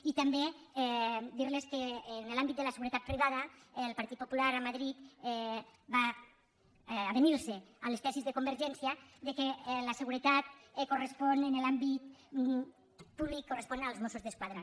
i també dir los que en l’àmbit de la seguretat privada el partit popular a madrid va avenir se a les tesis de convergència que la seguretat en l’àmbit públic correspon als mossos d’esquadra